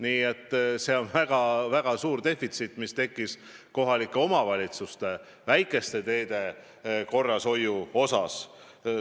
Nii tekkis väga suur defitsiit kohalike omavalitsuste väikeste teede korrashoiul.